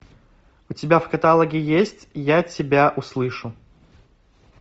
у тебя в каталоге есть я тебя услышу